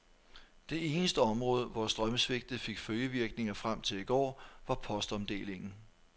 Det eneste område, hvor strømsvigtet fik følgevirkninger frem til i går, var postomdelingen.